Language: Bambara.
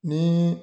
Ni